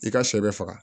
I ka shɛ bɛ faga